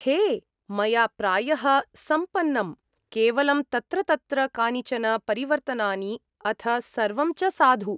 हे! मया प्रायः सम्पन्नम्। केवलं तत्र तत्र कानिचन परिवर्तनानि, अथ सर्वं च साधु।